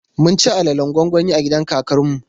Mun ci alalen gwangwani a gidan kakar mu.